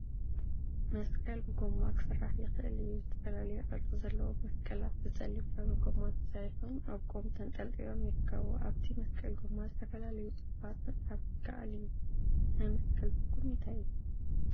መስቀል ብጎማ ክስራሕ ይከአል እዩ፡፡ ዝተፈላለየ ቅርፂ ዘለዎም መስቀላት ብፀሊም ሕብሪ ጎማ ተሰሪሖም አብ ቆም ተንጠልጢሎም ይርከቡ፡፡ አብቲ መስቀል ጎማ ዝተፈላለዩ ፅሑፋት ምፅሓፍ ይከአል እዩ፡፡ ናይ መስቀል ትርጉም እንታይ እዩ?